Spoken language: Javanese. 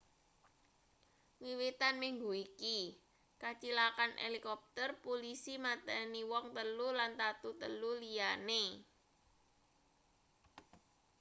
wiwitan minggu iki kacilakan helikopter pulisi mateni wong telu lan tatu telu liyane